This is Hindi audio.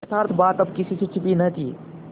यथार्थ बात अब किसी से छिपी न थी